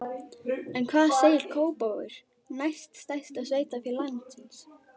En hvað segir Kópavogur, næst stærsta sveitarfélag landsins?